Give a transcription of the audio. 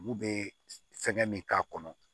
Olu bɛ fɛnkɛ min k'a kɔnɔ